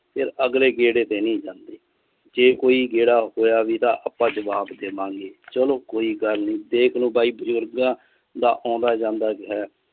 ਫਿਰ ਅਗਲੇ ਗੇੜੇ ਤੇ ਨਹੀਂ ਜਾਂਦੇ ਜੇ ਕੋਈ ਗੇੜਾ ਹੋਇਆ ਵੀ ਤਾਂ ਆਪਾਂ ਜਬਾਵ ਦੇਵਾਂ ਗਏ ਚਲੋ ਕੋਈ ਗੱਲ ਨੀ ਦੇਖ ਲੋ ਬਾਈ ਬੁਜਰਗਾ ਦਾ ਓਂਦਾ ਜਾਂਦਾ ਜਿਹਾ ਹੈ।